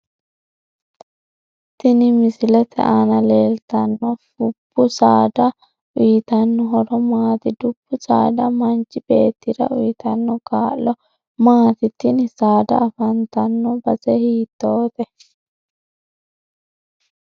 Tini misilete aana leeltano fubbu saada uyiitano horo maati dubbu saada manchi beetera uyiitano kaa'lo maati tini saada afantanno base hiitoote